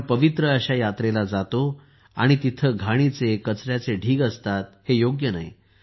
आपण पवित्र अशा यात्रेला जातो आणि तिथे घाणीचे कचऱ्याचे ढीग असतात हे योग्य नाही